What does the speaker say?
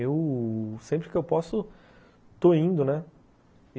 Eu, sempre que eu posso, estou indo, né?